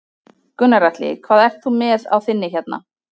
Gunnar Atli: Hvað ert þú með á þinni hérna?